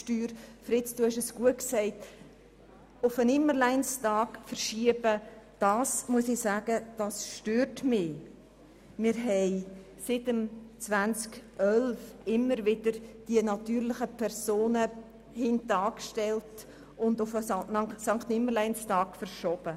Seit dem Jahr 2011 haben wir die Steuersenkungen für natürliche Personen immer wieder hintangestellt und sie – wie von Grossrat Wyrsch erwähnt – auf den Sankt-Nimmerleins-Tag verschoben.